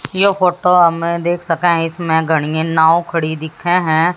ये फोटो हम देख सके है इसमें घडी नाव खाड़ी दिखे है।